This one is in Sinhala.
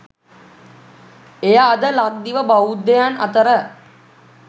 එය අද ලක්දිව බෞද්ධයන් අතර